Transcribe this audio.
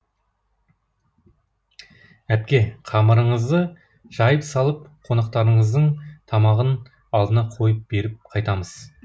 әпке қамырыңызды жайып салып қонақтарыңыздың тамағын алдына қойып беріп қайтамыз